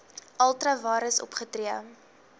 ultra vires opgetree